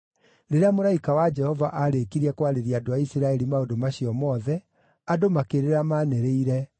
Rĩrĩa mũraika wa Jehova aarĩkirie kwarĩria andũ a Isiraeli maũndũ macio mothe, andũ makĩrĩra manĩrĩire,